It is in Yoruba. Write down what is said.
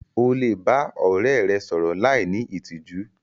O le ba ọrẹ rẹ sọrọ láì ní ìtìjú.